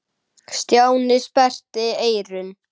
Stjáni sperrti eyrun.